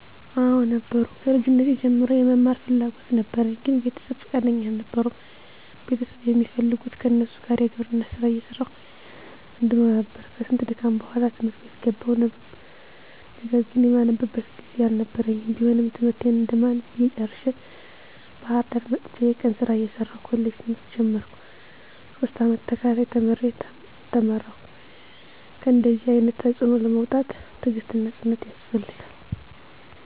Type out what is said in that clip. *አወ ነበሩ፦ ከልጅነቴ ጀምሮ የመማር ፍላጎት ነበረኝ ግን ቤተሰብ ፍቃደኛ አልነበሩም ቤተሰብ የሚፈልጉት ከነሱ ጋር የግብርና ስራ እየሰራሁ እንድኖር ነበር፤ ከስንት ድካም በኋላ ት/ት ቤት ገባሁ ነገር ግን የማነብበት ጊዜ አልነበረኝም ቢሆንም ትምህርቴን እንደማንም ብዬ ጨርሸ፤ ባህርዳር መጥቸ የቀን ስራ እየሰራሁ ኮሌጅ ትምህርት ጀመርኩ፤ ሶስት አመት ተከታታይ ተምሬ ተመረከሁ። ከእነደዚህ አይነት ተፅዕኖ ለመውጣት ትግስትና ፅናት ያስፈልጋል።